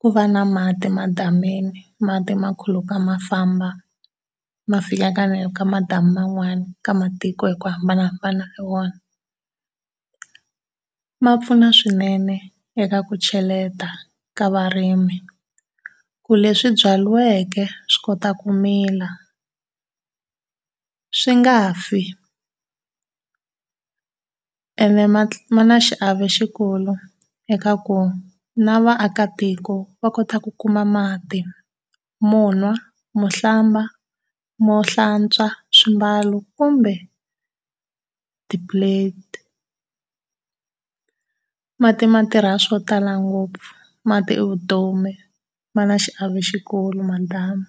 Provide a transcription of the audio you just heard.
ku va na mati madamini, mati ma khuluka ma famba ma fika ka ka madamu man'wana ka matiko hi ku hambanahambana ka wona. Ma pfuna swinene eka ku cheleta ka varimi. Ku leswi byariweke swi kota ku mila swi nga fi. Ene ma ma na xiave xikulu eka ku na vaakatiko va kota ku kuma mati monwa, mo hlamba, mo hlantswa swimbalo kumbe ti-plate. Mati ma tirha swo tala ngopfu, mati i vutomi. Ma na xiave xikulu madamu.